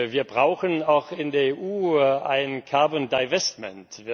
Wir brauchen auch in der EU ein carbon divestment